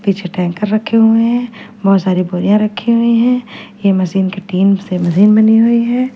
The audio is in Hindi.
पीछे टैंकर रखे हुए है बहुत सारे बोरिया रखी हुई है ये मशीन के टिन से मशीन बनी हुई हैं।